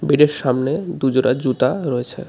বেডের সামনে দু জোড়া জুতা রয়েছে .